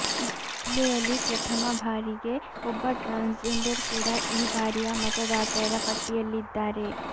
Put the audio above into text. ಜಿಲ್ಲೆಯಲ್ಲಿ ಪ್ರಥಮ ಬಾರಿಗೆ ಒಬ್ಬ ಟ್ರಾನ್ಸ್ಜೆಂಡರ್ ಕೂಡ ಈ ಬಾರಿಯ ಮತದಾತರ ಪಟ್ಟಿಯಲ್ಲಿದ್ದಾರೆ